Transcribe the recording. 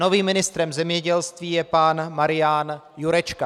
Novým ministrem zemědělství je pan Marian Jurečka.